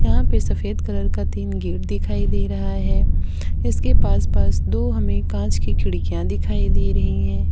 यहां पे सफेद कलर का तीन गेट दिखाई दे रहा है इसके पास पास दो हमें कांच की खिड़कियां दिखाई दे रही है।